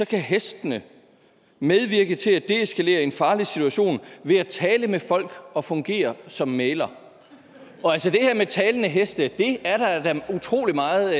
kan hestene medvirke til at deeskalere en farlig situation ved at tale med folk og fungere som mægler og altså det her med talende heste er der da utrolig meget